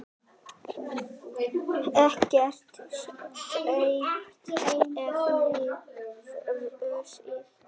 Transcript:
Ekkert steypt, efnið frosið.